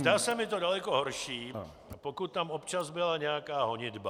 Zdá se mi to daleko horší, pokud tam občas byla nějaká honitba.